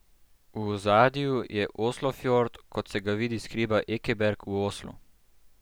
V ozadju je Oslofjord, kot se ga vidi s hriba Ekeberg v Oslu.